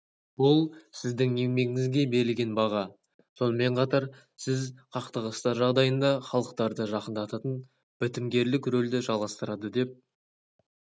бұл сіздің еңбегіңізге берілген баға сонымен қатар сіз қақтығыстар жағдайында халықтарды жақындататын бітімгерлік рөлді жалғастырады деп